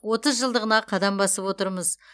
отыз жылдығына қадам басып отырмыз